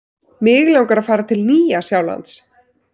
Mig langar að fara til Nýja-Sjálands.